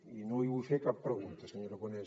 i no li vull fer cap pregunta senyor aragonès